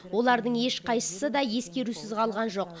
олардың ешқайсысы да ескерусіз қалған жоқ